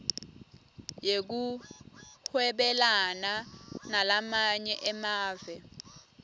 yekuhwebelana nalamanye emave